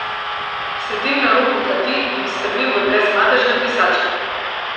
Sedim na robu kadi in strmim v brezmadežne brisače.